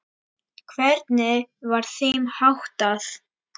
Hvernig var þeim háttað?